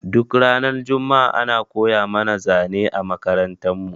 Duk ranar juma'a ana koya mana zane a makarantar mu